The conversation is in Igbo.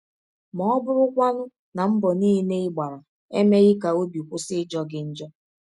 Ma ọ́ bụrụkwanụ na mbọ niile ị gbara emeghị ka ọbi kwụsị ịjọ gị njọ?